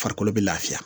Farikolo bɛ lafiya